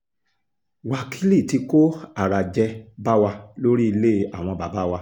wákìlì tí kó àràjẹ bá wa lórí ilé àwọn bàbá wa